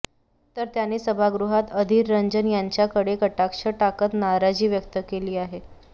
तर त्यांनी सभागृहात अधीर रंजन यांच्याकडे कटाक्ष टाकत नाराजी व्यक्त केली आहे